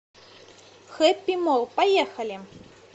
хэппи молл поехали